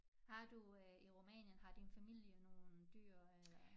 Har du øh i Rumænien har din familie nogen dyr eller